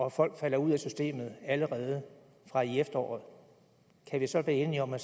at folk falder ud af systemet allerede fra efteråret kan vi så blive enige om at